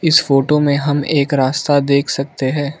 इस फोटो में हम एक रास्ता देख सकते हैं।